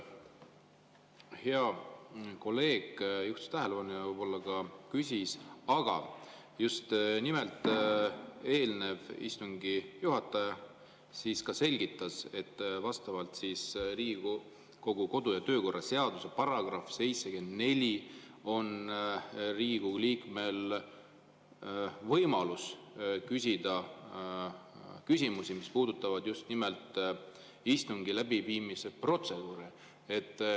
Hea kolleeg juhtis tähelepanu ja võib-olla ka küsis, aga eelmine istungi juhataja ka selgitas, et vastavalt Riigikogu kodu- ja töökorra seaduse §-le 74 on Riigikogu liikmel võimalus küsida küsimusi, mis puudutavad just nimelt istungi läbiviimise protseduure.